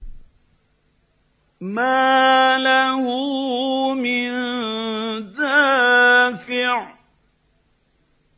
مَّا لَهُ مِن دَافِعٍ